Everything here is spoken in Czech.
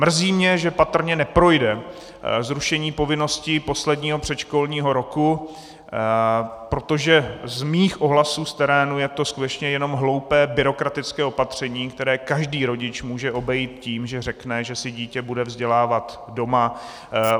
Mrzí mě, že patrně neprojde zrušení povinnosti posledního předškolního roku, protože z mých ohlasů v terénu je to skutečně jenom hloupé, byrokratické opatření, které každý rodič může obejít tím, že řekne, že si dítě bude vzdělávat doma.